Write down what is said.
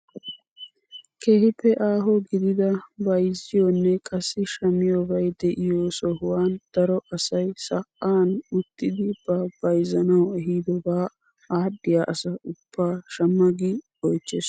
Keehippe aaho gidida bayzziyoonne qassi shammiyoobay de'iyoo sohuwaan daro asay sa; aan uttidi ba bayzzanawu eehdobaa adhdhiyaa asa ubbaa shamma gi oychchees.